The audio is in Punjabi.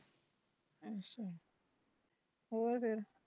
ਅੱਛਾ ਹੋਰ ਫੇਰ